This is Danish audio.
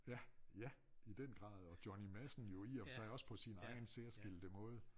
Ja ja i den grad og Johnny Madsen jo i og for sig også på sin egen særskilte måde